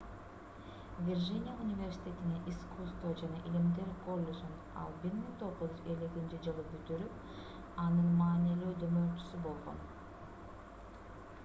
виржиния университетинин искусство жана илимдер коллежин ал 1950-жылы бүтүрүп анын маанилүү демөөрчүсү болгон